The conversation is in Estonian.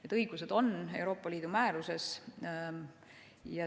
Need õigused on kirjas Euroopa Liidu määruses.